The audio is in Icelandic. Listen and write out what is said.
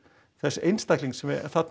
þess einstaklings sem þarna